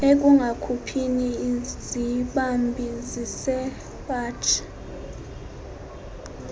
ekungakhuphini izibambi zesipaji